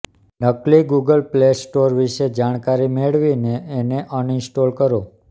નકલી Google play store વિશે જાણકારી મેળવીને એને અનઇસ્ટોલ કરો